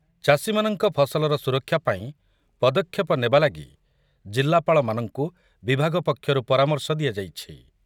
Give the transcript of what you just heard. ଚାଷୀମାନଙ୍କ ଫସଲର ସୁରକ୍ଷା ପାଇଁ ପଦକ୍ଷେପ ନେବା ଲାଗି ଜିଲ୍ଲାପାଳମାନଙ୍କୁ ବିଭାଗ ପକ୍ଷରୁ ପରାମର୍ଶ ଦିଆଯାଇଛି ।